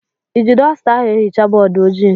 Ị ji dọsta ahụ ehicha bọọdụ ojii?